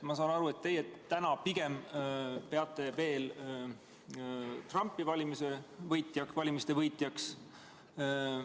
Ma saan aru, et teie täna pigem peate veel Trumpi valimiste võitjaks.